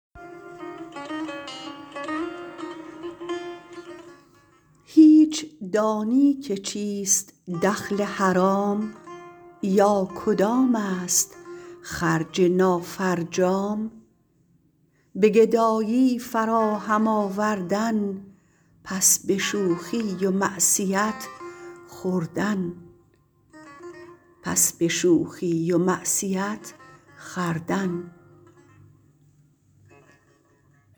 هیچ دانی که چیست دخل حرام یا کدامست خرج نافرجام به گدایی فراهم آوردن پس به شوخی و معصیت خوردن